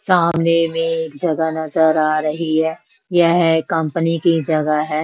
सामने में एक जगह नजर आ रही है यह कंपनी की जगह है।